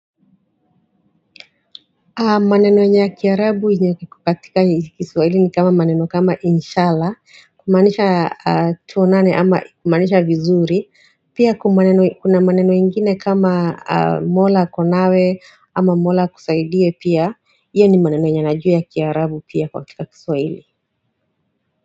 Maneno ya kiarabu yako katika kiswahili ni kama maneno kama inshallah kumanisha tuonane ama kumanisha vizuri pia kuna maneno ingine kama mola ako nawe ama mola akusaidie pia iyo ni maneno yenye najua ya kiarabu pia katika kiswahili.